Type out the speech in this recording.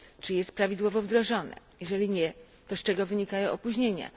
Czy jest prawidłowo wdrażane, a jeżeli nie, to z czego wynikają opóźnienia?